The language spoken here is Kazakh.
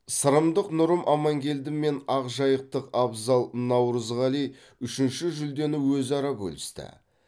сырымдық нұрым амангелді мен ақжайықтық абзал наурызғали үшінші жүлдені өзара бөлісті